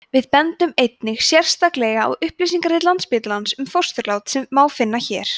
við bendum einnig sérstaklega á upplýsingarit landsspítalans um fósturlát sem má finna hér